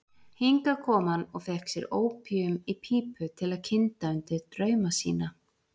Hingað kom hann og fékk sér ópíum í pípu til að kynda undir drauma sína.